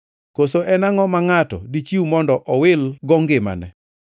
Koso en angʼo ma ngʼato dichiw mondo owil gi ngimane?